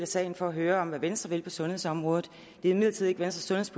salen for at høre om hvad venstre vil på sundhedsområdet det er imidlertid ikke venstres